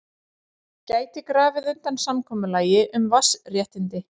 Gæti grafið undan samkomulagi um vatnsréttindi